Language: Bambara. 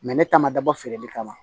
ne ta ma dabɔ feereli kama